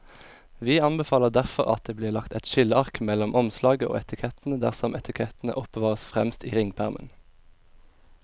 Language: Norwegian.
Vi anbefaler derfor at det blir lagt et skilleark mellom omslaget og etikettene dersom etikettene oppbevares fremst i ringpermen.